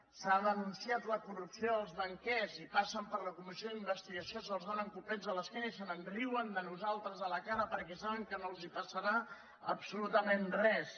s’ha denunciat la corrupció dels banquers i passen per la comissió d’investigació se’ls dóna copets a l’esquena i se’n riuen de nosaltres a la cara perquè saben que no els passarà absolutament res